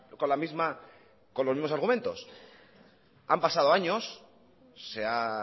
con los mismos argumentos han pasado años se ha